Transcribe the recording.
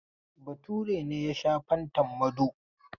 Bature ne ya sha fantan Mado.